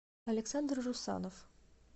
александр русанов